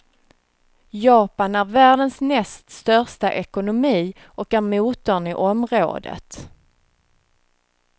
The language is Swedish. Japan är världens näst största ekonomi och är motorn i området.